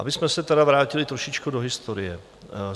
Abychom se tedy vrátili trošičku do historie.